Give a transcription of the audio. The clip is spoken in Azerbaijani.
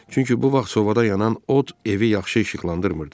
Çünki bu vaxt sobada yanan od evi yaxşı işıqlandırmırdı.